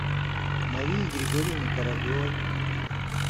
марии григорьевны кораблевой